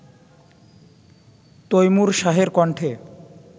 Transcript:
তৈমুর শাহের কন্ঠে